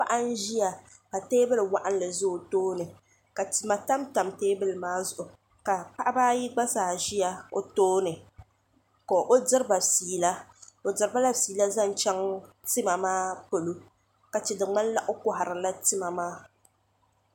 paɣ' n.ʒɛya ka tɛbuli waɣilinli ʒɛ o tuuni ka tima tamitam tɛbuli maa zuɣ ka paɣbaayi gba zaa ʒɛya o tuuni ka o diriba ƒɛla o diribal ƒɛla zaŋ chɛŋ tima maa polo ka chɛ di kpanila o kohirila tima maa